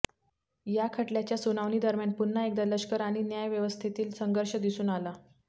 या खटल्याच्या सुनावणीदरम्यान पुन्हा एकदा लष्कर आणि न्यायाव्यवस्थेतील संघर्ष दिसून आला